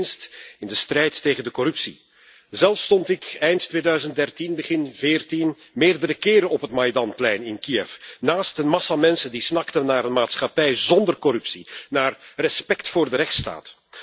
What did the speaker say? Niet in het minst in de strijd tegen de corruptie. Zelf stond ik eind 2013, begin 2014 meerdere keren op het Maidanplein in Kiev, naast een massa mensen die snakten naar een maatschappij zonder corruptie, naar respect voor de rechtsstaat.